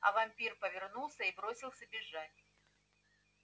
а вампир повернулся и бросился бежать